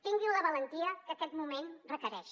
tinguin la valentia que aquest moment requereix